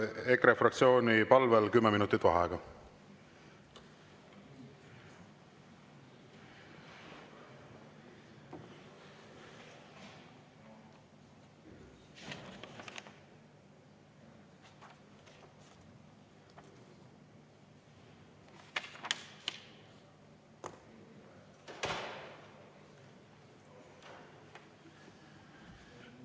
EKRE fraktsiooni palvel 10 minutit vaheaega.